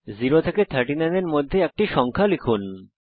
0 এবং 39 এর মধ্যে একটি সংখ্যা লিখুন